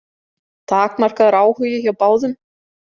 Takmarkaður áhugi hjá báðum.